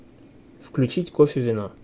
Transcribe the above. включить кофевино